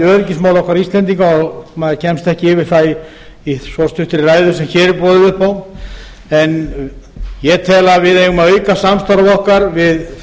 öryggismálum okkar íslendinga og maður kemst ekki yfir það í svo stuttri ræðu sem hér er boðið upp á en ég tel að við eigum að auka samstarf okkar við